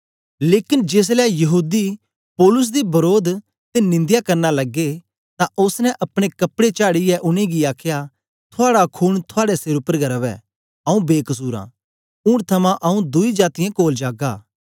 लेकन जेसलै यहूदी पौलुस दे वरोध ते निंदया करना लगे तां ओसने अपने कपड़े झाड़ीयै उनेंगी आखया थुआड़ा खून थुआड़े सेर उपर गै रवै आंऊँ बेकसुर आं ऊन थमां आंऊँ दुई जातीयें कोल जागा